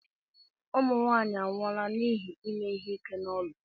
Ụmụ nwaanyị anwụọla n'ihi ime ihe ike n'ụlọ.